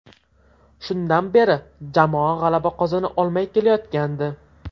Shundan beri jamoa g‘alaba qozona olmay kelayotgandi.